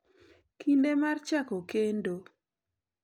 kinde mar chako kendo.